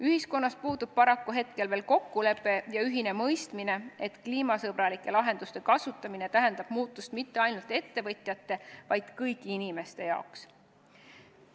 Ühiskonnas puudub paraku veel kokkulepe ja ühine mõistmine, et kliimasõbralike lahenduste kasutamine tähendab muutust mitte ainult ettevõtjate, vaid kõigi inimeste jaoks.